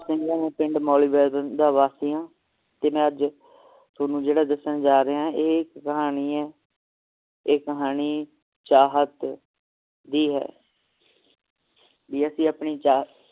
ਸਤਿ ਸ੍ਰੀ ਅਕਾਲ ਜੀ ਮੈਂ ਮੌਲੀ ਦਾ ਵਾਸੀ ਆ ਤੇ ਮੈਂ ਅੱਜ ਥੋਨੂੰ ਦੱਸਣ ਜਾ ਰਿਹਾ ਇਹ ਕਹਾਣੀ ਹੈ ਇਹ ਕਹਾਣੀ ਚਾਹਤ ਦੀ ਹੈ ਜੇ ਅਸੀਂ ਆਪਣੀ ਚਾਹਤ